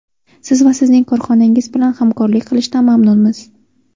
Siz va sizning korxonangiz bilan hamkorlik qilishdan mamnunmiz.